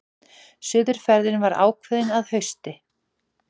Suðurferðin var ákveðin að hausti.